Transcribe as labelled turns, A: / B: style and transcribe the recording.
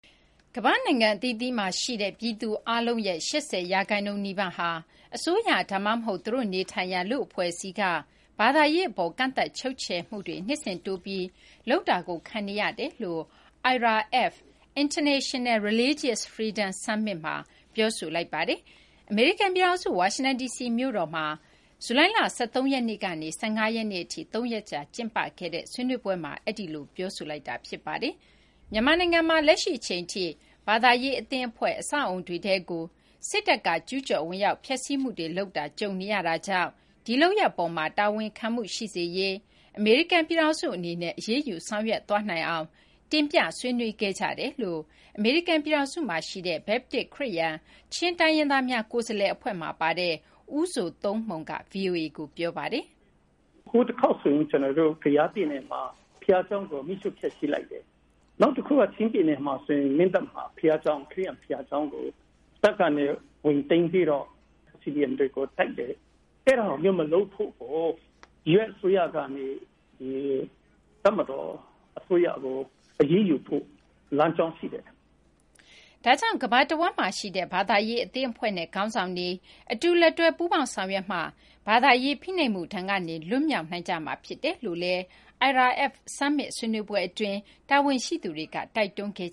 A: ကမ္ဘာ့နိုင်ငံအသီးသီးမှာရှိတဲ့ ပြည်သူအားလုံးရဲ့ ၈၀ ရာခိုင်နှုန်းနီးပါးဟာ အစိုးရ ဒါမှမဟုတ် သူတို့နေထိုင်ရာ လူ့အဖွဲ့အစည်းက ဘာသာရေးအပေါ် ကန့်သတ်ချုပ်ချယ်မှုတွေ နှစ်စဉ် တိုးပြီး လုပ်လာတာကို ခံနေရတယ်လို့ IRF အဖွဲ့က ပြောကြားလိုက်ပါတယ်။ အမေရိကန်ပြည်ထောင်စု ဝါရှင်တန်ဒီစီမြို့မှာ ဇူလိုင်လ ၁၃ ရက်နေ့ကနေ ၁၅ ရက်နေ့အထိ ၃ ရက်ကြာ ကျင်းပတဲ့ IRF (International Religious Freedom) Summit ဆွေးနွေးပွဲမှာ အဲဒီလို ပြောဆိုလိုက်ကြတာပါ။ မြန်မာနိုင်ငံမှာလည်း လက်ရှိအချိန်ထိ ဘာသာရေးအသင်းအဖွဲ့၊ အဆောက်အဦတွေထဲကို စစ်တပ်က ကျူးကျော်ဝင်ရောက် ဖျက်ဆီးမှုတွေ လုပ်တာ ကြုံနေရတာကြောင့် ဒီလုပ်ရပ်အပေါ်မှာ တာဝန်ခံမှုရှိစေရေး အမေရိကန်ပြည်ထောင်စု အနေနဲ့ အရေးယူ ဆောင်ရွက်သွားနိုင်အောင် တင်ပြဆွေးနွေးခဲ့ကြတယ်လို့ အမေရိကန်ပြည်ထောင်စုမှာရှိတဲ့ ဘက်ပတစ်-ခရစ်ယာန်-ချင်းတိုင်းရင်းသားများ ကိုယ်စားလှယ်အဖွဲ့ (Chin Advocacy Committee, Chin Baptist Churches of America) မှာပါတဲ့ ဦးဇိုသုန်းမှုန်က ဗွီအိုအေကို ပြောပါတယ်။
B: “ဟိုတခေါက်ဆိုရင် ကယားပြည်နယ်မှာ ဘုရားကျောင်းကို မီးရှို့ဖျက်ဆီးလိုက်တယ်။ နောက်တခုက ချင်းပြည်နယ် မင်းတပ်မှာ ခရစ်ယာန်ဘုရားကျောင်းကို ပိုက်ဆံတွေ ဝင်သိမ်းပြီးတော့ CDM တွေကို တိုက်တယ်။ အဲဒါမျိုးကို မလုပ်ဖို့ US အစိုးရကနေ တပ်မတော်အစိုးရကို အရေးယူဖို့ လမ်းကြောင်းရှိတယ်။”
A: ဒါကြောင့် ကမ္ဘာတဝန်းမှာရှိတဲ့ ဘာသာရေးအသင်းအဖွဲ့နဲ့ ခေါင်းဆောင်တွေ အတူလက်တွဲ ပူးပေါင်းဆောင်ရွက်မှသာ ဘာသာရေးဖိနှိပ်မှု ဒဏ်ကနေ လွတ်မြောက်နိုင်ကြမှာ ဖြစ်တယ်လို့လည်း IRF Summit ဆွေးနွေးပွဲအတွင်း တာဝန်ရှိသူတွေက တိုက်တွန်းခဲ့